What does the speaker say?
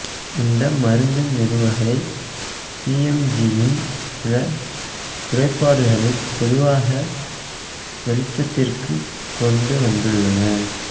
இந்த மருத்து நிறுவுகை பிஎம்ஐயின் சில குறைபாடுகளை பொதுவாக வெளிச்சத்திற்குக் கொண்டு வந்துள்ளன